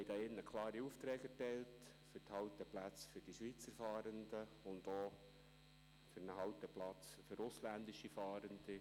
Wir haben im Grossen Rat klare Aufträge zu Halteplätzen für die Schweizer Fahrenden und auch zu einem Halteplatz für ausländische Fahrende erteilt.